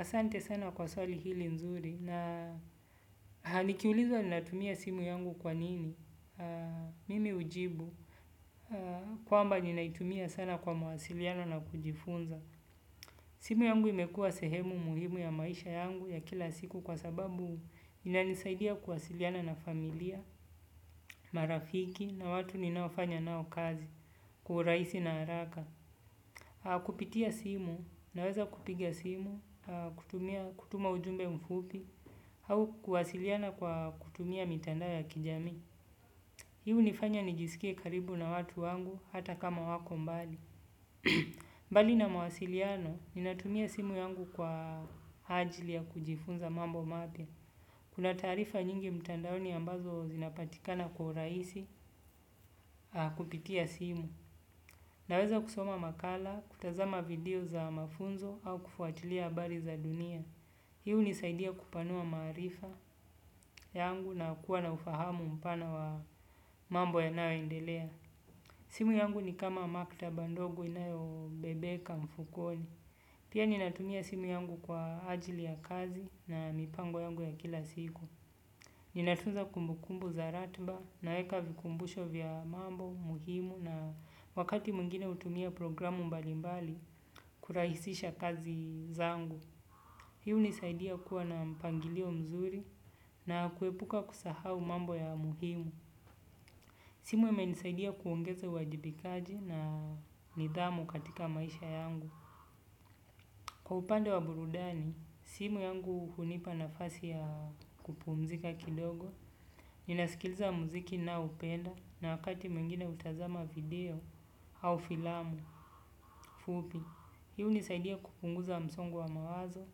Asante sana kwa swali hili nzuri na nikiulizwa ninatumia simu yangu kwa nini, mimi hujibu, kwamba ninaitumia sana kwa mawasiliano na kujifunza. Simu yangu imekuwa sehemu muhimu ya maisha yangu ya kila siku kwa sababu inanisaidia kuwasiliana na familia, marafiki na watu ninaofanya nao kazi, kwa urahisi na haraka. Kupitia simu naweza kupiga simu, kutuma ujumbe mfupi au kuwasiliana kwa kutumia mitandao ya kijamii. Hii hunifanya nijisikie karibu na watu wangu hata kama wako mbali. Mbali na mwasiliano ninatumia simu yangu kwa ajili ya kujifunza mambo mapya. Kuna taarifa nyingi mtandaoni ambazo zinapatikana kwa urahisi kupitia simu. Naweza kusoma makala, kutazama video za mafunzo au kufuatilia habari za dunia. Hii hunisaidia kupanua maarifa yangu na kuwa na ufahamu mpana wa mambo yanayoendelea. Simu yangu ni kama maktaba ndogo inayobebeka mfukoni. Pia ninatumia simu yangu kwa ajili ya kazi na mipango yangu ya kila siku. Ninatunza kumbukumbu za ratiba, naeka vikumbusho vya mambo muhimu na wakati mwingine hutumia programu mbalimbali kurahisisha kazi zangu. Hii hunisaidia kuwa na mpangilio mzuri na kuepuka kusahau mambo ya muhimu. Simu imenisaidia kuongeza uwajibikaji na nidhamu katika maisha yangu. Kwa upande wa burudani, simu yangu hunipa nafasi ya kupumzika kidogo. Ninasikiliza muziki naoupenda na wakati mwingine hutazama video au filamu, fupi. Hii hunisaidia kupunguza msongo wa mawazo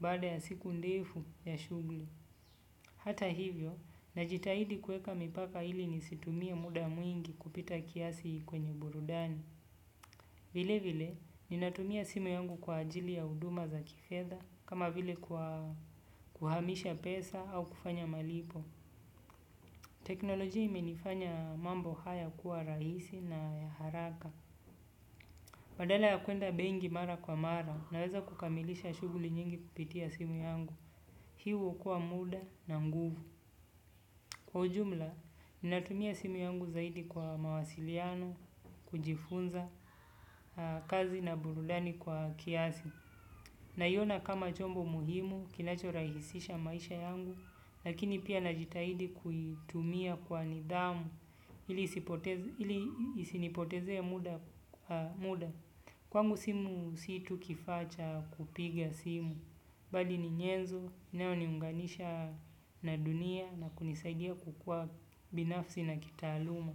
baada ya siku ndefu ya shughuli. Hata hivyo, najitahidi kuweka mipaka ili nisitumie muda mwingi kupita kiasi kwenye burudani. Vilevile, ninatumia simu yangu kwa ajili ya huduma za kifedha, kama vile kuhamisha pesa au kufanya malipo. Teknolojia imenifanya mambo haya kuwa rahisi na ya haraka. Badala ya kuenda benki mara kwa mara naweza kukamilisha shughuli nyingi kupitia simu yangu. Hii huokoa muda na nguvu. Kwa ujumla, ninatumia simu yangu zaidi kwa mawasiliano, kujifunza, kazi na burudani kwa kiasi. Naiona kama chombo muhimu, kinachorahisisha maisha yangu, lakini pia najitahidi kuitumia kwa nidhamu. Ili isinipotezee muda. Kwangu simu si tu kifaa cha kupiga simu. Bali ni nyenzo, inayoniunganisha na dunia na kunisaidia kukua binafsi na kitaaluma.